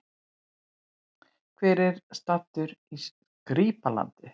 Hver var staddur í Skrýpla-landi?